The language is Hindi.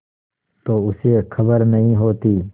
तो उसे खबर नहीं होती